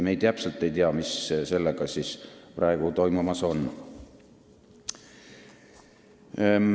Me täpselt ei tea, mis sellega praegu toimumas on.